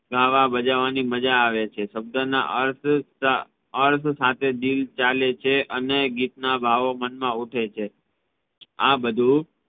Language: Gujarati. ગાવા ભજવવાની માજા આવે છે શબ્દના અર્થ સાથે દિલ ચાલે છે અને ગીતના ભાવો મનમા ઉઠે છે આ બધુ